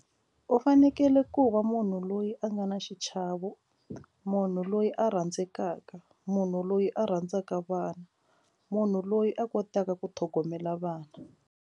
U fanekele ku va munhu loyi a nga na xichavo munhu loyi a rhandzekaka munhu loyi a rhandzaka vana munhu loyi a kotaka ku tlhogomela vana.